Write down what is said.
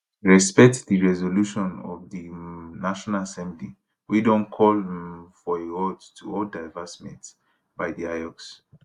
respect di resolution of di um national assembly wey don call um for a halt to all divestment by di iocs